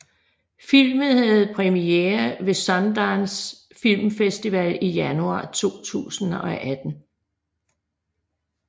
Filmen havde premiere ved Sundance Film Festival i januar 2018